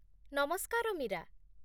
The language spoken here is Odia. ନମସ୍କାର, ମୀରା